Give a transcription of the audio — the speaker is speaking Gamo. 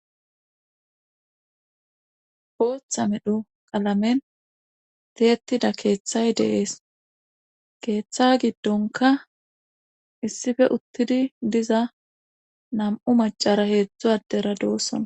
Bootha medho qalamen tyettida keethay de7ees giddonkka issife uttidi diza nam7u maccara heedzdzu addera doosona.